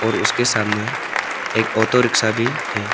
और उसके सामने एक ऑटो रिक्शा भी है।